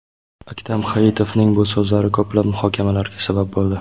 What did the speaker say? Aktam Hayitovning bu so‘zlari ko‘plab muhokamalarga sabab bo‘ldi .